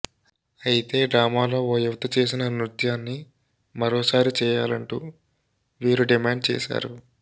అయితే డ్రామాలో ఓ యువతి చేసిన నృత్యాన్ని మరోసారి చేయాలంటూ వీరు డిమాండ్ చేశారు